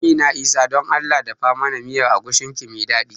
Amina Isah don Allah dafa mana miyar agushin ki mai daɗi